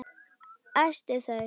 Æsti þau.